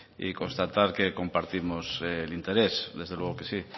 y constatar que compartimos el interés desde luego que sí